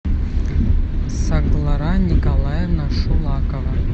саглара николаевна шулакова